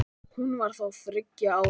Hún var þá þriggja ára.